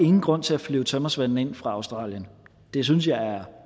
ingen grund til at flyve tømrersvende ind fra australien det synes jeg er